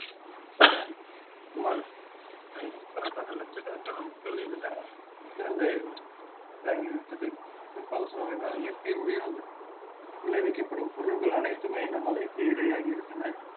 சுமார் ஐந்நூறு கணக்கான லட்ச கணக்கான மக்கள் இதுல இறந்து இறந்து இதாகிவிட்டது குறிப்பாக சொல்ல வேண்டும் என்றால் இயற்கை விளைவிக்கப்படும் பொருட்கள் அனைத்துமே இந்த மழைக்கு இறையாகி விட்டன